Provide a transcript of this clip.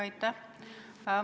Aitäh!